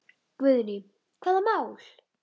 Guðný: Hvaða mál?